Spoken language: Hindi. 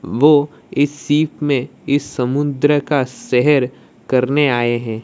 लोग इस सीप में इस समुद्र का सेहर करने आए है।